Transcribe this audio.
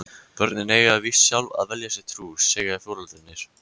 Börnin eiga víst sjálf að velja sér trú, segja foreldrarnir.